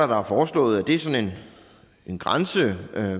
der er foreslået en grænse hvad